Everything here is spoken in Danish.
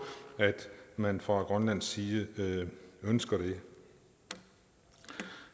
at man fra grønlands side ønsker det